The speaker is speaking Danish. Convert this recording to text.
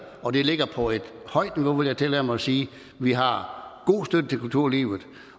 og det ligger på et højt niveau vil jeg tillade mig at sige vi har god støtte til kulturlivet